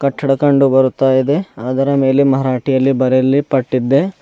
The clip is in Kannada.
ಕಟ್ಟಡ ಕಂಡು ಬರುತ್ತಾ ಇದೆ ಅದರ ಮೇಲೆ ಮರಾಠಿಯಲ್ಲಿ ಬರೆಲಿ ಪಟ್ಡಿದೆ.